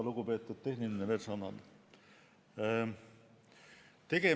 Lugupeetud tehniline personal!